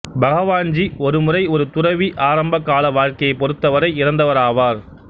பகவான்ஜி ஒரு முறை ஒரு துறவி ஆரம்ப கால வாழ்க்கையைப் பொறுத்தவரை இறந்தவராவார்